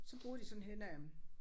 Så boede de sådan hen ad